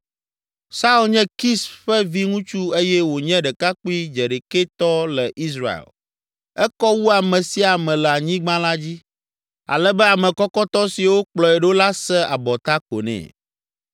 Saul nye Kis ƒe viŋutsu eye wònye ɖekakpui dzeɖekɛtɔ le Israel. Ekɔ wu ame sia ame le anyigba la dzi ale be ame kɔkɔtɔ siwo kplɔe ɖo la se abɔta ko nɛ.